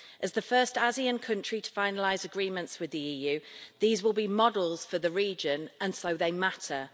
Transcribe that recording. As the first ASEAN country to finalise agreements with the EU, these will be models for the region and so they matter.